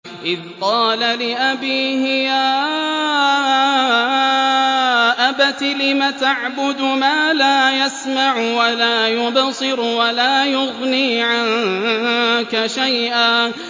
إِذْ قَالَ لِأَبِيهِ يَا أَبَتِ لِمَ تَعْبُدُ مَا لَا يَسْمَعُ وَلَا يُبْصِرُ وَلَا يُغْنِي عَنكَ شَيْئًا